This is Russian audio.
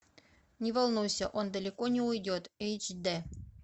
не волнуйся он далеко не уйдет эйч дэ